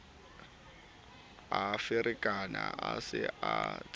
a ferekane a sa itsebe